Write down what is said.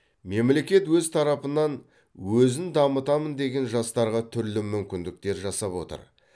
мемлекет өз тарапынан өзін дамытамын деген жастарға түрлі мүмкіндіктер жасап отыр